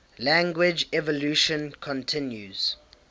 language evolution continues